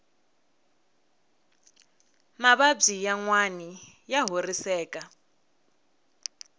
mavabyi yanwani ya horiseka